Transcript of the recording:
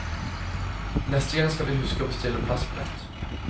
Neste gang skal de huske å bestille plassbillett.